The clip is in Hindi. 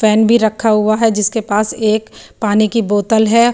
पेन भी रखा हुआ है जिसके पास एक पानी की बोतल है।